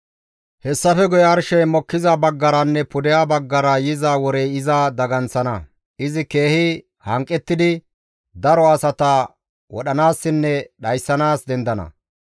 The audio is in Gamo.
Hessafe guye arshey mokkiza baggaranne pudeha baggara yiza worey iza daganththana; izi keehi hanqettidi daro asata wodhanaassinne dhayssanaas dendana.